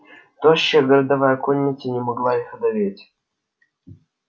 тощая городовая конница не могла их одолеть